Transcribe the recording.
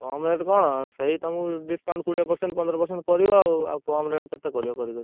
କମ rate କଣ? ସେଇ ତମକୁ discount ପନ୍ଦର percent କୋଡିଏ percent କରିବ ଆଉ ଆଉ କମ rate କେତେ କରିବ କରି କରି?